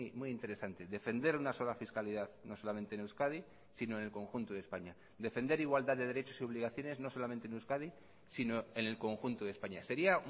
muy interesante defender una sola fiscalidad no solamente en euskadi sino en el conjunto de españa defender igualdad de derechos y obligaciones no solamente en euskadi sino en el conjunto de españa sería